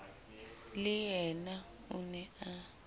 le yena o ne a